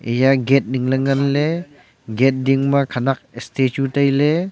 eya gate ning ley ngan ley gate ding ma khenak statue tai ley.